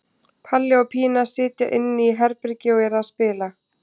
Palli og Pína sitja inni í herbergi og eru að spila.